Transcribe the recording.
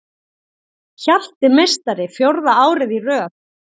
Hjalti meistari fjórða árið í röð